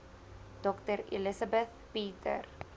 dr elizabeth peter